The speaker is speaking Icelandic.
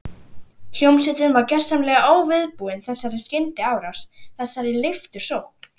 Hljómsveitin var gjörsamlega óviðbúin þessari skyndiárás, þessari leiftursókn.